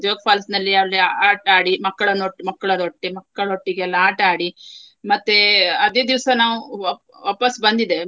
Jog falls ನಲ್ಲಿ ಅಲ್ಲಿ ಆಟ ಆಡಿ ಮಕ್ಕಳನ್ನು ಒಟ್ಟು ಮಕ್ಕಳದೊಟ್ಟಿ~ ಮಕ್ಕಳೊಟ್ಟಿಗೆ ಎಲ್ಲಾ ಆಟ ಆಡಿ. ಮತ್ತೇ ಅದೇ ದಿವಸ ನಾವು ವಾಪ್~ ವಾಪಸು ಬಂದಿದ್ದೇವೆ.